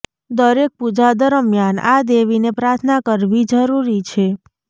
દરેક પૂજા દરમિયાન આ દેવીને પ્રાર્થના કરવી જરૂરી છે